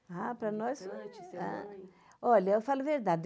Ah, para nós... Olha, eu falo a verdade.